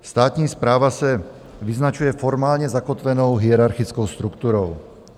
Státní správa se vyznačuje formálně zakotvenou hierarchickou strukturou.